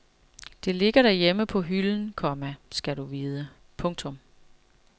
Det ligger derhjemme på hylden, komma skal du vide. punktum